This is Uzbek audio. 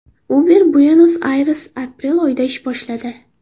Uber Buenos-Ayresda aprel oyida ish boshladi.